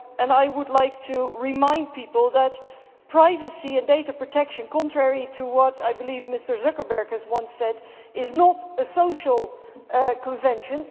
I would like to remind people that privacy and data protection contrary to what I believe Mr Zuckerberg once said is not a social convention.